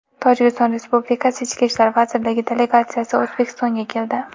Tojikiston Respublikasi Ichki ishlar vazirligi delegatsiyasi O‘zbekistonga keldi.